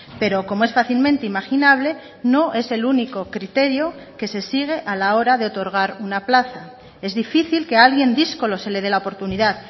pero como es fácilmente imaginable no es el único criterio que se sigue a la hora de otorgar una plaza es difícil que a alguien díscolo se le dé la oportunidad